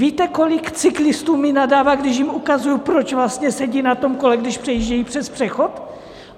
Víte, kolik cyklistů mi nadává, když jim ukazuji, proč sedí na tom kole, když přejíždějí přes přechod?